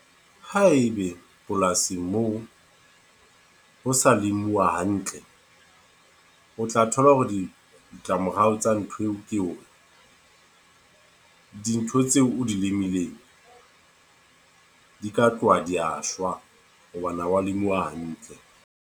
Haebe polasing moo, ho sa lemuwa hantle. O tla thola hore di ditlamorao tsa ntho eo. Dintho tseo o dilemileng, di ka tloha dia shwa. Hobane ha wa lemuwa hantle.